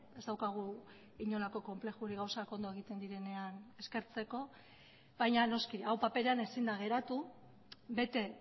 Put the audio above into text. ez daukagu inolako konplexurik gauzak ondo egiten direnean eskertzeko baina noski hau paperean ezin da geratu bete